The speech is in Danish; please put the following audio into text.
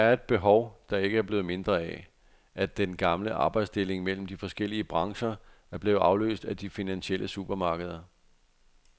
Det er et behov, der ikke er blevet mindre af, at den gamle arbejdsdeling mellem de forskellige brancher er blevet afløst af de finansielle supermarkeder.